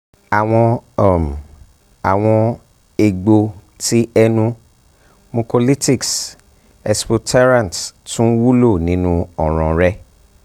awọn um awọn um egbo ti ẹnu mucolytics expectorants tun wulo ninu ọran rẹ